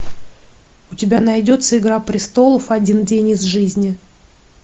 у тебя найдется игра престолов один день из жизни